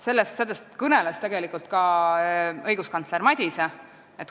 Sellest kõneles tegelikult ka õiguskantsler Madise.